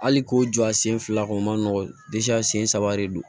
Hali ko jɔ a sen fila kɔni o man nɔgɔn a sen saba de don